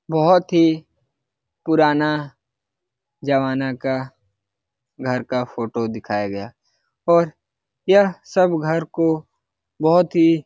बहुत ही पुराना जमाना का घर का फोटो दिखाया गया और या सब घर को बहुत ही --